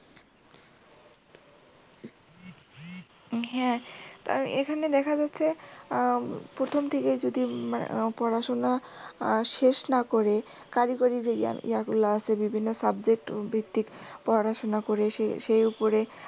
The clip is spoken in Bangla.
হ্যাঁ তাই এখানে দেখা যাচ্ছে হম প্রথম থেকে যদি উম পড়াশুনা আহ শেষ না করে কারিগরি যেইগুলা আছে subject ভিত্তিক পড়াশুনা করে সে সে উপরে